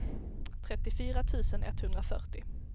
trettiofyra tusen etthundrafyrtio